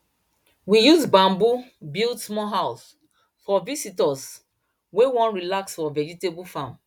we use bamboo build small house for visitors wey wan relax for vegetable farm